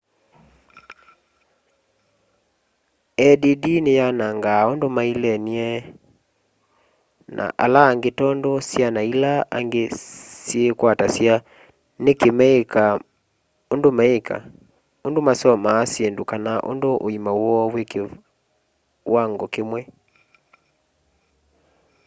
add ni yanangaa undu mailenie na ala angi tondu syana ila angi syiikwatasya niki meika undu meika undu masomaa syindu kana nundu uima woo ui kiwango kimwe